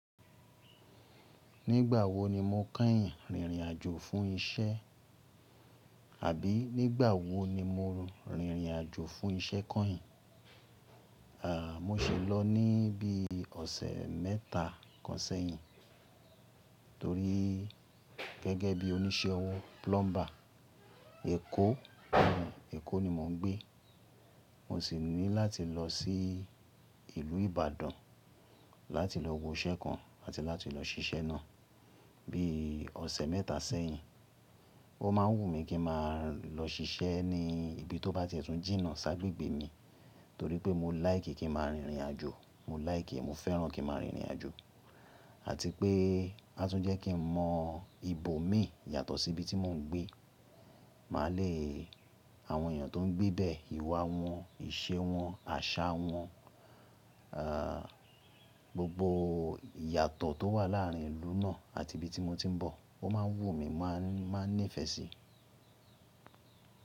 Nígbà wo ni mo kẹ́yìn rìnrìn àjò fún isẹ́? Àbí nígbà wo ni mo rìnrìn àjò fún isẹ́ kẹ́yìn? Àà, mo ṣi lọ ní bí i ọ̀sẹ̀ mẹ́ta kan sẹ́yìn. Torí gẹ́gẹ́ bí oníṣẹ́ owó plumber, ekó, ekó ni mò ń gbé. Mo sì ní láti lọ sí ìlú Ìbàdàn láti lọ wo iṣẹ́ kan àti láti lọ ṣiṣẹ́ náà bí i ọ̀sẹ̀ mẹ́ta sẹ́yìn. Ó máa ń wù mí kí n máa lọ ṣiṣẹ́ ní ibi tó bá ti ẹ tun jìnà ṣágbégbé mi torí pé mo láìkì kí n máa rìnrìn àjò, mo láìkì, mo fẹ́ràn kí n máa rìnrìn àjò àti pé a tún jẹ́ kí n mọ ibo mi yàtọ̀ sí ibi tí mò ń gbé. Mà lèe àwọn èèyàn tó ń gbé bẹ, ìwà wọn, ìṣe wọn, àṣà wọn, àà, gbogbo ìyàtọ̀ tó wà láàrin ìlú náà àti ibi tí mo ti ń bọ̀ ó máa ń wù mí, máa nífẹ̀ẹ́ sí i.